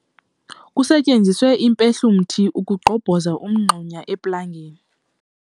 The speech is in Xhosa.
Kusetyenziswe impehlumthi ukugqobhoza umngxuma eplangeni.